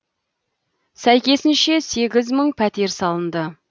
сәйкесінше сегіз мың пәтер салынды